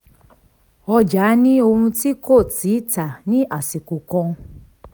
ọjà ni ohun tí kò tíì tà ní àsìkò kan.